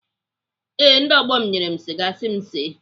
Ee, ndị ọgbọ m nyere m siga si m see.